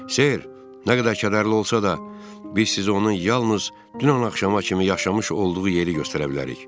"Ser, nə qədər kədərli olsa da, biz sizi onun yalnız dünən axşama kimi yaşamış olduğu yeri göstərə bilərik."